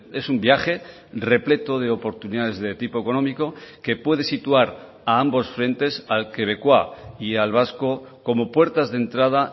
es un viaje repleto de oportunidades de tipo económico que puede situar a ambos frentes al quebecua y al vasco como puertas de entrada